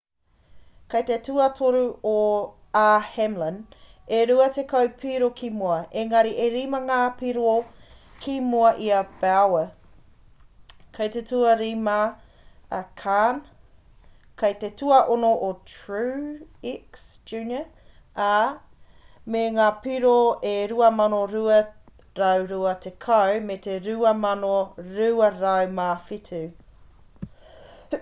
kei te tuatoru a hamlin e rua tekau piro ki muri engari e rima ngā piro ki mua i a bowyer kei te tuarima a kahne kei te tuaono a truex jr ā me ngā piro e 2,220 me te 2,207